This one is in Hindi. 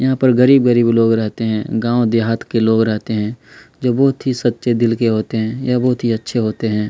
यहां पर गरीब-गरीब लोग रहते हैं गांव देहात के लोग रहते हैं जो बहुत ही सच्चे दिल के होते हैं यह बहुत ही अच्छे होते हैं।